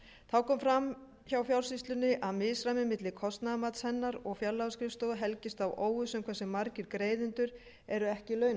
þá kom fram hjá fjársýslunni að misræmi milli kostnaðarmats hennar og fjárlagaskrifstofu helgist af óvissu um hversu margir greiðendur eru ekki launamerktir